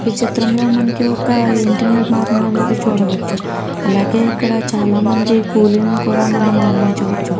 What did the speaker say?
ఈ చిత్రం లో మనము ఒక ఇంటి నిర్మాణం అనేది చూడవచ్చు అలాగే ఇక్కడ మనం చాలా మంది కూలీలను కూడా గమనించవచ్చు.